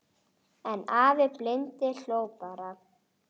En afi blindi hló bara.